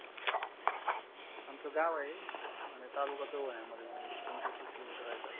आमच गाव आहे आणि तालुका जवळ आहे पंचवीस तीस किलोमीटर आहे साहेब